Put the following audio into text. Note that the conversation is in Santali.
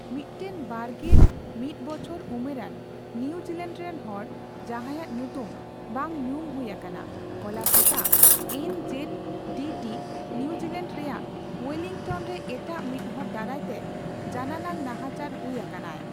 ᱢᱤᱫᱴᱟᱝ ᱵᱟᱨᱜᱮᱞ ᱢᱤᱛᱵᱚᱪᱷᱚᱨ ᱩᱢᱮᱨᱟᱱ ᱱᱭᱩᱡᱤᱞᱮᱱᱰ ᱨᱮᱱ ᱦᱚᱲ, ᱡᱟᱦᱟᱸᱭᱟᱜ ᱧᱩᱛᱩᱢ ᱵᱟᱝ ᱧᱩᱢ ᱦᱩᱭ ᱟᱠᱟᱱᱟ, ᱦᱚᱞᱟ ᱥᱮᱛᱟᱜ ( N Z D T ) New Zealand ᱨᱮᱭᱟᱜ ᱳᱭᱮᱹᱞᱤᱝᱴᱚᱱ ᱨᱮ ᱮᱴᱟᱜ ᱢᱤᱫᱦᱚᱲ ᱫᱟᱨᱟᱭ ᱛᱮ ᱡᱟᱱᱟᱱᱟᱝ ᱱᱟᱦᱟᱪᱟᱨ ᱦᱩᱭ ᱟᱠᱟᱱᱟᱭ ᱾